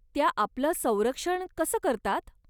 त्या आपलं संरक्षण कसं करतात?